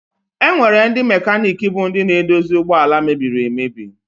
Enwere ndị mekaniki bụ ndị na-edozi ụgbọala mebiri emebi.